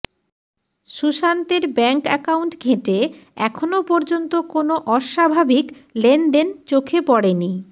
সুশান্তের bank account ঘেঁটে এখন পর্যন্ত কোনো অস্বাভাবিক লেনদেন চোখে পড়েনি